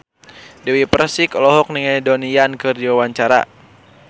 Dewi Persik olohok ningali Donnie Yan keur diwawancara